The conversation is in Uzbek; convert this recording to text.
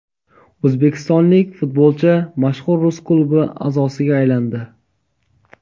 O‘zbekistonlik futbolchi mashhur rus klubi a’zosiga aylandi.